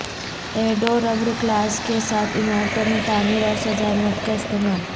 ایڈوربڈ کلاز کے ساتھ عمارتوں میں تعمیر اور سزائے موت کا استعمال